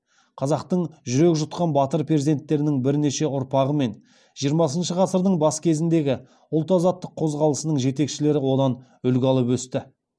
қазақтың жүрек жұтқан батыр перзенттерінің бірнеше ұрпағы мен жиырмасыншы ғасырдың бас кезіндегі ұлт азаттық қозғалысының жетекшілері одан үлгі алып өсті